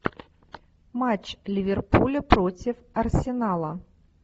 матч ливерпуля против арсенала